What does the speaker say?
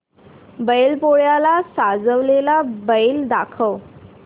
बैल पोळ्याला सजवलेला बैल दाखव